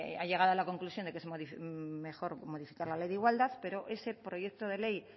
ha llegado a la conclusión de que es mejor modificar la ley de igualdad pero ese proyecto de ley